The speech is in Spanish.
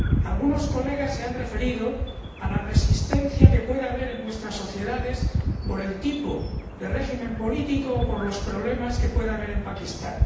Algunos colegas se han referido a la resistencia que puede haber en nuestras sociedades por el tipo de régimen político o por los problemas que pueda haber en Pakistán.